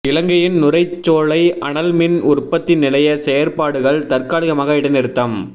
இலங்கையின் நுரைச்சோலை அனல் மின் உற்பத்தி நிலைய செயற்பாடுகள் தற்காலிகமாக இடைநிறுத்தம்